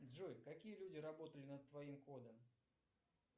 джой какие люди работали над твоим кодом